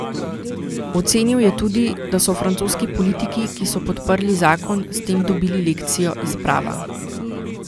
Ocenil je tudi, da so francoski politiki, ki so podprli zakon, s tem dobili lekcijo iz prava.